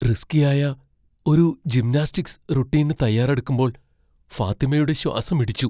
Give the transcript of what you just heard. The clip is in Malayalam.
റിസ്കി ആയ ഒരു ജിംനാസ്റ്റിക്സ് റുടീന് തയ്യാറെടുക്കുമ്പോൾ ഫാത്തിമയുടെ ശ്വാസമിടിച്ചു.